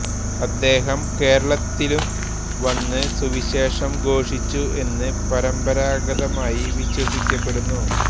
അദ്ദേഹം കേരളത്തിലും വന്ന് സുവിശേഷം ഘോഷിച്ചു എന്ന് പരമ്പരാഗതമായി വിശ്വസിക്കപ്പെടുന്നു